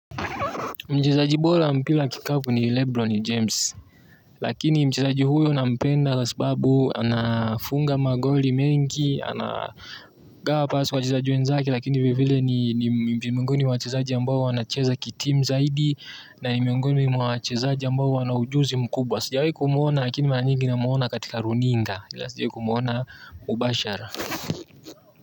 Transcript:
Mchezaji bora mpira wa kikapu ni Lebron James. Lakini mchezaji huyo na mpenda kwa sababu anafunga magoli mengi anagawa pasi wachezaji wenzake lakini vile vile ni ni miongoni mwa wachezaji ambao wanacheza ki timu zaidi na ni miongoni mwa wachezaji ambao wanaujuzi mkubwa. Sijawi kumuona lakini mara nyingi na mumuona katika runinga ila sijawi ku kumuona mubashara.